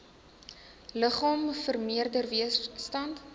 liggaam vermeerder weerstand